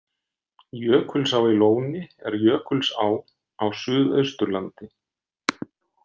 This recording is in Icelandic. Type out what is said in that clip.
Jökulsá í Lóni er jökulsá á Suðausturlandi.